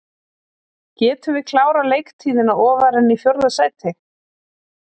Getum við klárað leiktíðina ofar en í fjórða sæti?